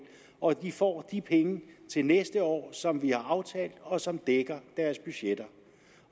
og de får de penge til næste år som vi har aftalt og som dækker deres budgetter